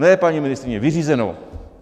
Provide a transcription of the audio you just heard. Ne, paní ministryně, vyřízeno!